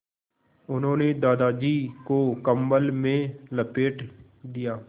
उन्होंने दादाजी को कम्बल में लपेट दिया